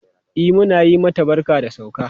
E, mun yi mata barka da ta sauka.